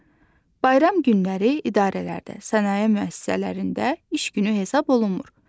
Bayram günləri idarələrdə, sənaye müəssisələrində iş günü hesab olunmur.